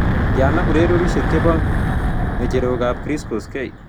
Tyana ureryosiek che po ng'echerokap chris koskey